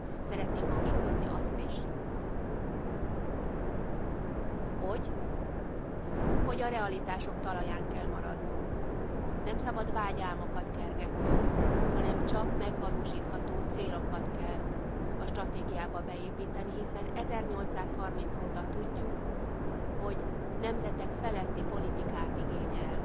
Szeretném hangsúlyozni azt is, hogy a realitások talaján kell maradnunk. Nem szabad vágyálmokat kergetnünk, hanem csak megvalósítható célokat kell a stratégiába beépíteni, hiszen 1830 óta tudjuk, hogy nemzetek feletti politikát igényel.